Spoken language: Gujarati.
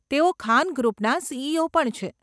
તેઓ ખાન ગ્રુપના સીઈઓ પણ છે.